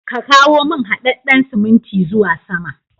Ka kawo haɗaɗɗan siminti zuwa sama.